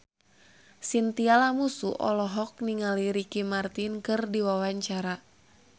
Chintya Lamusu olohok ningali Ricky Martin keur diwawancara